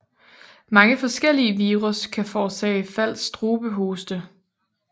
Mange forskellige virus kan forårsage falsk strubehoste